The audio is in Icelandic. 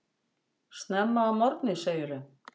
Snemma að morgni segirðu.